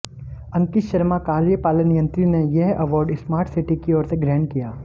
अंकित शर्मा कार्यपालन यंत्री ने यह अवार्ड स्मार्ट सिटी की ओर से ग्रहण किया